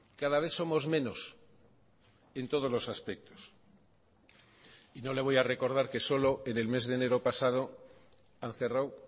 cada vez somos menos en todos los aspectos y no le voy a recordar que solo en el mes de enero pasado han cerrado